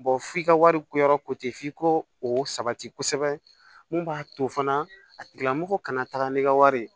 f'i ka wari ko yɔrɔ f'i ko o sabati kosɛbɛ mun b'a to fana a tigilamɔgɔ kana taga n'i ka wari ye